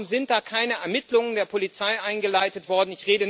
Warum sind da keine Ermittlungen der Polizei eingeleitet worden?